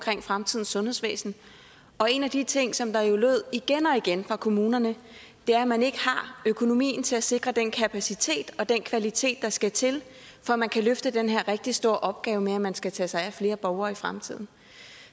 fremtidens sundhedsvæsen og en af de ting som jo lød igen og igen fra kommunerne er at man ikke har økonomien til at sikre den kapacitet og den kvalitet der skal til for at man kan løfte den her rigtig store opgave med at man skal tage sig af flere borgere i fremtiden